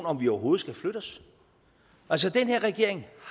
om vi overhovedet skal flytte os altså den her regering